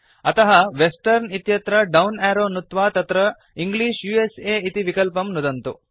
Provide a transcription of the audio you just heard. अतः वेस्टर्न इत्यत्र down arrow नुत्वा तत्र इंग्लिश उस इति विकल्पं नुदन्तु